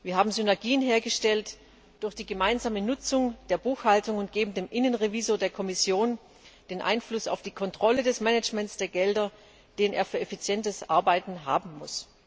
Wir haben Synergien hergestellt durch die gemeinsame Nutzung der Buchhaltung und geben dem Innenrevisor der Kommission den Einfluss auf die Kontrolle des Managements der Gelder, den er für effizientes Arbeiten haben muss.